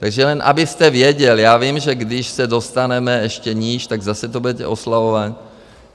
Takže jen abyste věděl, já vím, že když se dostaneme ještě níž, tak zase to budete oslavovat.